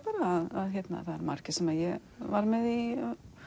það eru margir sem ég var með í